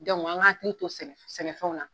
an k'an hakili to sɛnɛ sɛnɛfɛnw la.